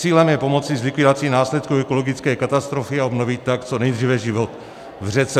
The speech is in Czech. Cílem je pomoci s likvidací následků ekologické katastrofy a obnovit tak co nejdříve život v řece.